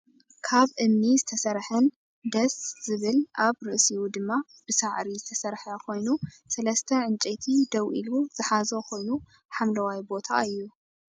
ካብ እምኒ ዝተሰረሐን ደስ ዝብል ኣብ ርእሲኡ ድማ ብሳዒሪ ዝተሰረሐ ኮይኑ ሰለስተ ዕንጨይቲ ደው ኢሉ ዝሓዞ ኮይኑ ሓምለዋይ ቦታ እዩ።